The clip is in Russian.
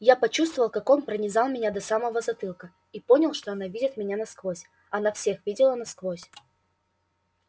я почувствовал как он пронизал меня до самого затылка и понял что она видит меня насквозь она всех видела насквозь